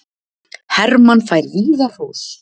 Hermann fær víða hrós